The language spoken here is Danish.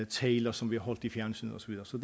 taler som bliver holdt i fjernsynet og så videre så